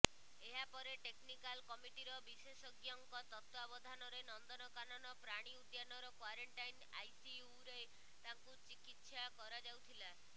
ଏହାପରେ ଟେକ୍ନିକାଲ କମିଟିର ବିଶେଷଜ୍ଞଙ୍କ ତତ୍ତ୍ୱାବଧାନରେ ନନ୍ଦନକାନନ ପ୍ରାଣୀ ଉଦ୍ୟାନର କ୍ୱାରେନଟାଇନ୍ ଆଇସିୟୁରେ ତାକୁ ଚିକିତ୍ସା କରାଯାଉଥିଲା